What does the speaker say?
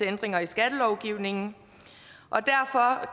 ændringer i skattelovgivningen